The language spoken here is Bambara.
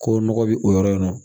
Ko nɔgɔ bi o yɔrɔ in na